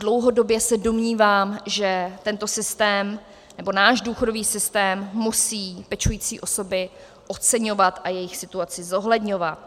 Dlouhodobě se domnívám, že tento systém, nebo náš důchodový systém, musí pečující osoby oceňovat a jejich situaci zohledňovat.